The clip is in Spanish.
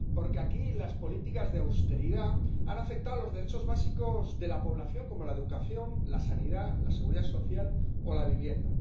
Porque aquí las políticas de austeridad han afectado a los derechos básicos de la población, como la educación, la sanidad, la Seguridad Social o la vivienda.